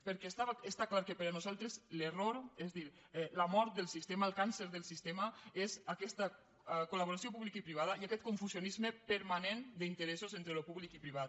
perquè està clar que per a nosaltres l’error és a dir la mort del sistema el càncer del sistema és aquesta col·laboració pública i privada i aquest confusionisme permanent d’interessos entre el públic i el privat